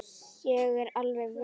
Ég er alveg viss.